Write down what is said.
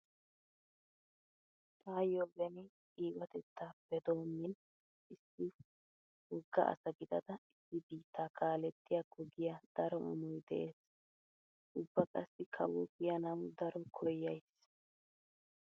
Taayyo beni qiibatettaappe doommin issi wogga asa gidada issi biittaa kaalettiyakko giya daro amoy dees. Ubba qassi kawo kiyanawu daro koyyays.